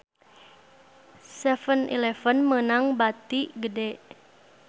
7-eleven meunang bati gede